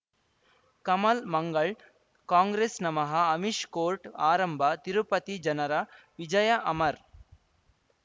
ಕಮಲ್ ಮಂಗಳ್ ಕಾಂಗ್ರೆಸ್ ನಮಃ ಅಮಿಷ್ ಕೋರ್ಟ್ ಆರಂಭ ತಿರುಪತಿ ಜನರ ವಿಜಯ ಅಮರ್